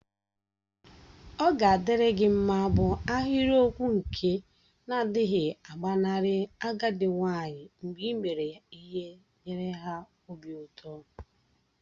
Oga adiri gi mma bu ahiriokwụ nke na-adighi agbanarị agadi nwanyi mgbe ị mere ihe nyere ha obi ụtọ.